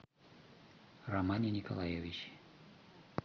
романе николаевиче